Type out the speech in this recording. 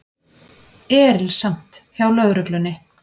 Erilsamt hjá lögreglunni